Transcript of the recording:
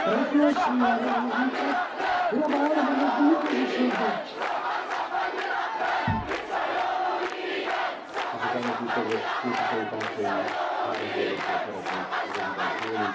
Tisztelt Elnök úr! Kedves Képviselőtársaim! Három kérdésről szeretnék röviden szólni, az egyenjogúságról és egyenrangúságról, a titkolódzásról s végül, de nem utolsó sorban a vidékfejlesztés fontosságáról.